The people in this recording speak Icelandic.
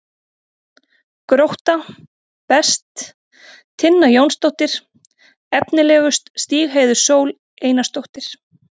Grótta: Best: Tinna Jónsdóttir Efnilegust: Stígheiður Sól Einarsdóttir